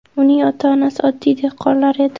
Uning ota-onasi oddiy dehqonlar edi.